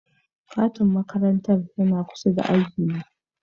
Kantin makarantar yana kusa da ajina.